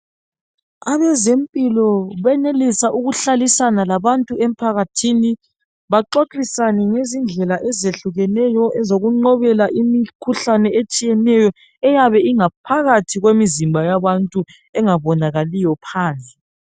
Abezempilo benelisa ukuhlalisana labantu emphakathini baxoxosana ngezindlela ezehlukeneyo ezokuqobela imikhuhlane etshiyeneyo eyabe ingaphakathi kwemiziba yabantu engabonakaliyo phandle.